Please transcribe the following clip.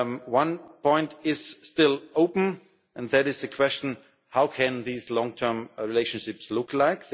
One point is still open, and that is the question of what these long term relationships will look